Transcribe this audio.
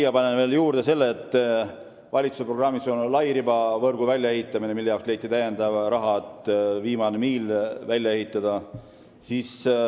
Ma panen siia juurde veel valitsuse programmis oleva lairibavõrgu väljaehitamise, mille jaoks leiti täiendav raha, et viimane miil välja ehitada.